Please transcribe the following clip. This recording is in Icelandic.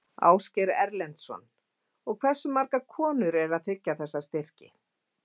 Ásgeir Erlendsson: Og hversu margar konur eru að þiggja þessa styrki?